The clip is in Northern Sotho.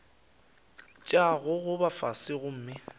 tša go gogoba fase gomme